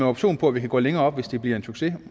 option på at vi kan gå længere op hvis det bliver en succes